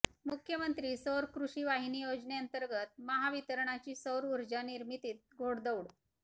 मुख्यमंत्री सौर कृषी वाहिनी योजनेंतर्गत महावितरणची सौर ऊर्जा निमिर्तीत घोडदौड